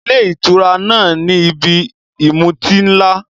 Ilé ìtura náà ni ibi ìmutí ńlá.